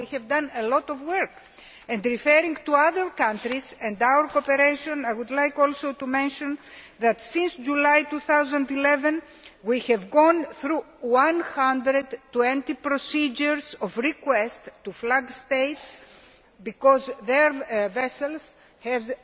So we have done a lot of work. Referring to other countries and our cooperation, I would like also to mention that since July 2011 we have gone through 120 procedures of requests to flag states because their vessels